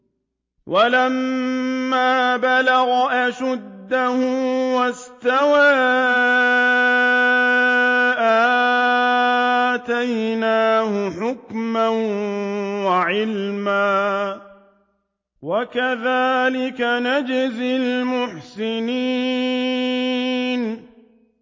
وَلَمَّا بَلَغَ أَشُدَّهُ وَاسْتَوَىٰ آتَيْنَاهُ حُكْمًا وَعِلْمًا ۚ وَكَذَٰلِكَ نَجْزِي الْمُحْسِنِينَ